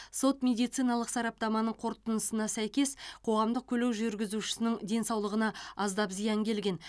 сот медициналық сараптаманың қорытындысына сәйкес қоғамдық көлік жүргізушісінің денсаулығына аздап зиян келген